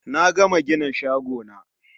Na gama gina shagona